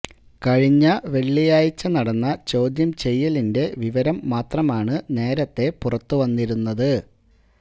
കഴിഞ്ഞ വെളളിയാഴ്ച നടന്ന ചോദ്യം ചെയ്യലിന്റെ വിവരം മാത്രമാണ് നേരത്തെ പുറത്തുവന്നിരുന്നത്